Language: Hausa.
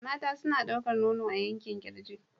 Mata suna ɗaukar nono a yankin kirji.